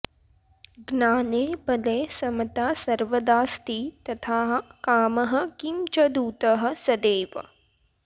ज्ञाने बले समता सर्वदास्ति तथाः कामः किं च दूतः सदैव